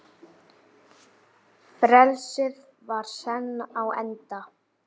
Frelsið var senn á enda.